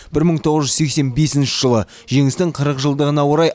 бір мың тоғыз жүз сексен бесінші жылы жеңістің қырық жылдығына орай